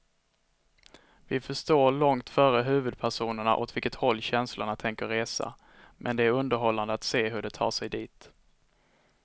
Vi förstår långt före huvudpersonerna åt vilket håll känslorna tänker resa, men det är underhållande att se hur de tar sig dit.